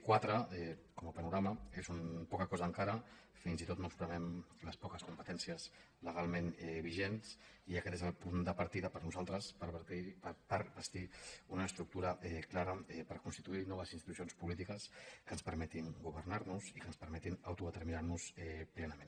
quatre com a panorama és poca cosa encara fins i tot no espremem les poques competències legalment vigents i aquest és el punt de partida per nosaltres per bastir una estructura clara per constituir noves institucions polítiques que ens permetin governar nos i que ens permetin autodeterminar nos plenament